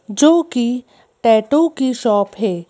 जो कि टैटू की शॉप है।